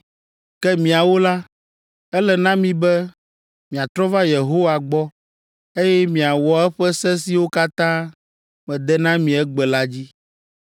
Ke miawo la, ele na mi be miatrɔ va Yehowa gbɔ, eye miawɔ eƒe se siwo katã mede na mi egbe la dzi.